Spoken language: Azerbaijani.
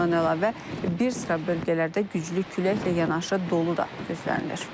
Bundan əlavə, bir sıra bölgələrdə güclü küləklə yanaşı dolu da gözlənilir.